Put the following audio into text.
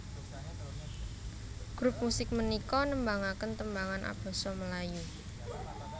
Grup musik punika nembangake tembangan abasa Melayu